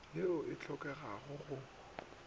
ye e sa hlokeng go